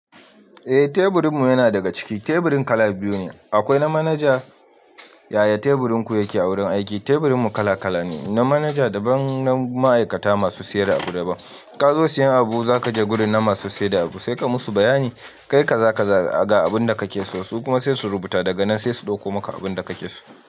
Eh teburin mu yana daga ciki. Teburin kala biyu ne, akwai na manaja. Yaya teburin ku yake a wurin aiki? Teburin mu kala kala ne, na manaja daban da na ma'aikata masu sayar da abu daban. Ka zo siyan abu, za ka je gurin na masu saida abu, sai ka musu bayani, kai kaza kaza ga abun da ka ke so. Su kuma sai su rubuta daga nan sai su ɗauko maka abun da ka ke so.